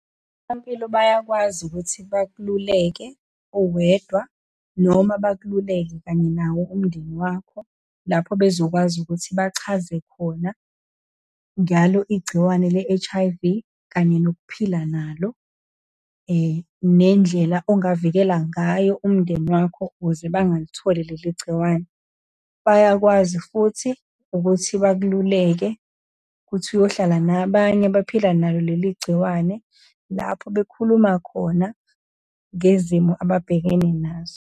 bayakwazi ukuthi bakululeke uwedwa, noma bakululeke kanye nawo umndeni wakho, lapho bezokwazi ukuthi bachaze khona ngalo igciwane le-H_I_V, kanye nokuphila nalo, nendlela engavikela ngayo umndeni wakho ukuze bangalitholi leli gciwane. Bayakwazi futhi ukuthi bakululeke ukuthi uyohlala nabanye abaphila nalo leli gciwane, lapho bekhuluma khona ngezimo ababhekene nazo.